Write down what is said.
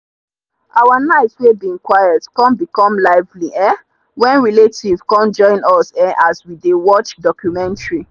our night wey bin quiet come become lively um when relatives come join us um as we dey watch documentary.